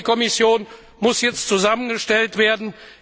Und die Kommission muss jetzt zusammengestellt werden.